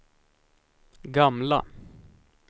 gamla